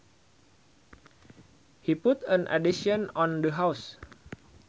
He put an addition on the house